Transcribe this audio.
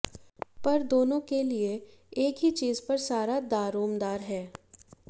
पर दोनों के लिए एक ही चीज पर सारा दारोमदार है